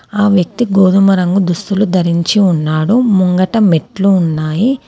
ఆ వ్యక్తి గోధుమ రంగు దుస్తులు ధరించి ఉన్నాడు. ముంగట మెట్లు ఉన్నాయి.